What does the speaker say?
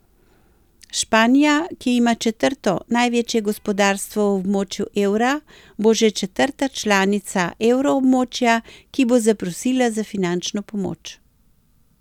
Španija, ki ima četrto največje gospodarstvo v območju evra, bo že četrta članica evroobmočja, ki bo zaprosila za finančno pomoč.